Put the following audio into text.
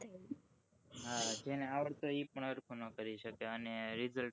હ